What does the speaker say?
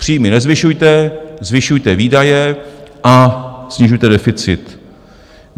Příjmy nezvyšujte, zvyšujte výdaje a snižujte deficit.